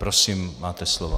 Prosím, máte slovo.